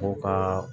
Ko ka